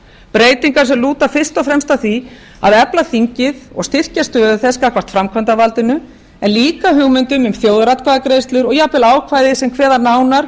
breytingar sem lúta fyrst og fremst að því að efla þingið og styrkja stöðu þess gagnvart framkvæmdarvaldinu en líka hugmyndum um þjóðaratkvæðagreiðslur og jafnvel ákvæði sem kveða nánar